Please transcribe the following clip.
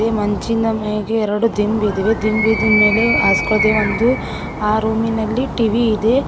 ಮಂಚಿನ ಮೇಗೆ ಎರಡು ದಿಂಬಿದೆ ದಿಂಬಿದಿಂದ ಮೇಲೆ ಹಾಸ್ಕೋಳೊಕೆ ಒಂದು ಆ ರೂಮಿನಲ್ಲಿ ಟಿ_ವಿ ಇದೆ.